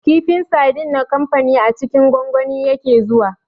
Kifin sardine na kamfanin a cikin gwangwani yake zuwa